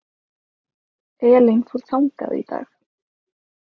Elín fór þangað í dag.